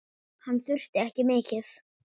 Hann þurfti ekki mikið.